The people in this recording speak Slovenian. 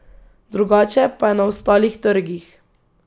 Drugače pa je na ostalih trgih.